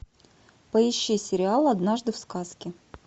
поищи сериал однажды в сказке